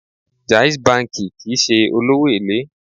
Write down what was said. Jais banki kìí ṣe olówó èlé.